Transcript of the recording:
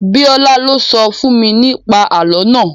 Bíọ́lá lo sọ fún mi ní pa àlọ́ naa